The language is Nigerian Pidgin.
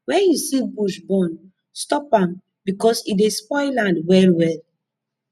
when you see bush burn stop am because e dey spoil land well well